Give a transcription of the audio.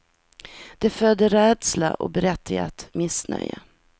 Det föder rädsla och berättigat missnöje.